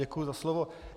Děkuji za slovo.